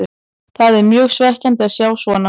Það er mjög svekkjandi að sjá svona.